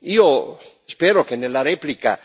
Io spero che nella replica,